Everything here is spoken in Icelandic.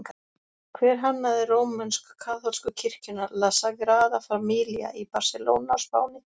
Hver hannaði rómönsk-kaþólsku kirkjuna La Sagrada Familia í Barselóna á Spáni?